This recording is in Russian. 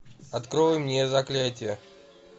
открой